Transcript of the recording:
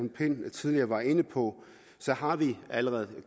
tidligere var inde på har vi allerede